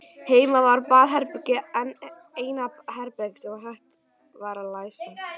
Heima var baðherbergið eina herbergið sem hægt var að læsa.